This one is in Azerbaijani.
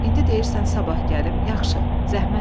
İndi deyirsən sabah gəlim, yaxşı, zəhmət verdi.